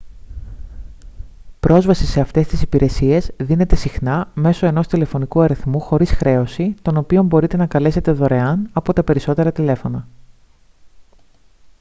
πρόσβαση σε αυτές τις υπηρεσίες δίνεται συχνά μέσω ενός τηλεφωνικού αριθμού χωρίς χρέωση τον οποίο μπορείτε να καλέσετε δωρεάν από τα περισσότερα τηλέφωνα